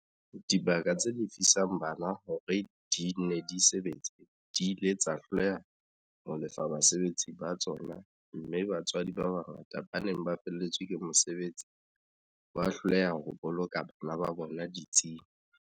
Dibaka tse lefisang bana hore di nne di sebetse di ile tsa hloleha ho lefa basebetsi ba tsona mme batswadi ba bangata ba neng ba felletswe ke mosebetsi ba hloleha ho boloka bana ba bona ditsing.